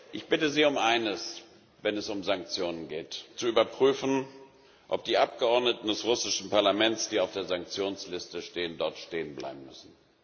Ich bitte Sie um eines, wenn es um Sanktionen geht zu überprüfen, ob die Abgeordneten des russischen Parlaments, die auf der Sanktionsliste stehen, dort stehen bleiben müssen.